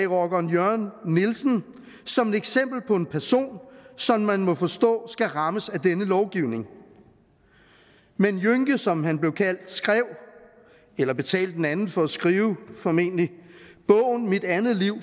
rockeren jørn nielsen som et eksempel på en person som man må forstå skal rammes af denne lovgivning men jønke som han blev kaldt skrev eller betalte en anden for at skrive formentlig bogen mit andet liv